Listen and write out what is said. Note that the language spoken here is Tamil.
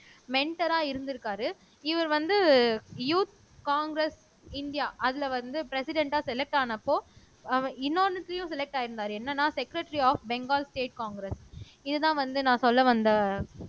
மென்டரா இருந்திருக்காரு இவர் வந்து யூத் காங்கிரஸ் இந்தியா அதுல வந்து ப்ரெசிடெண்ட்டா செலக்ட் ஆனப்போ அவ இன்னொண்ணுத்தையும் செலக்ட் ஆயிருந்தாரு என்னன்னா secretary of Bengal state Congress இதுதான் வந்து நான் சொல்ல வந்த